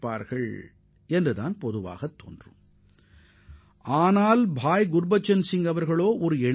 ஆனால் குர்பச்சன் சிங் விதித்த நிபந்தனையை கேட்டால் நீங்கள் மிகவும் ஆச்சரியப்படுவீர்கள்